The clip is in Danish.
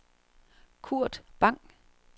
Kurt Bang